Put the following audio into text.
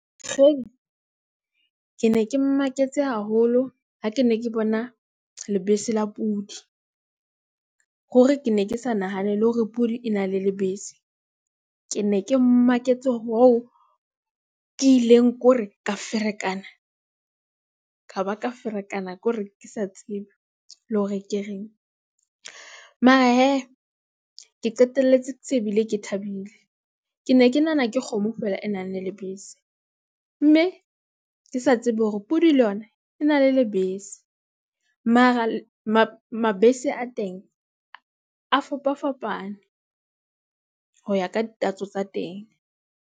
Ke ne ke maketse haholo ha ke ne ke bona lebese la pudi, hore ke ne ke sa nahanele hore pudi e na le lebese. Ke ne ke maketse hoo ke ileng kore ka ferekana, ka ba ka ferekana kore ke sa tsebe le hore ke reng. he, ke qetelletse se bile ke thabile, ke ne ke nahana ke kgomo feela e nang le lebese, mme ke sa tsebe hore pudi le yona e na le lebese. Mara mabese a teng a fapafapane, ho ya ka ditatso tsa teng.